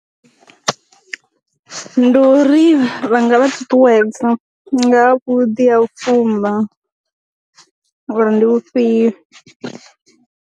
Ndi u ri vha nga vha ṱuṱuwedza nga vhu ḓi ha u fumba ngori ndi u fhiyo.